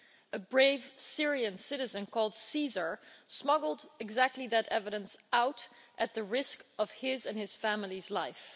A brave Syrian citizen called Caesar' smuggled exactly that evidence out at the risk of his and his family's life.